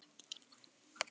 Öll við verslum í búð.